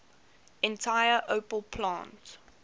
entire opel plant